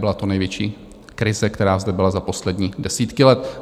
Byla to největší krize, která zde byla za poslední desítky let.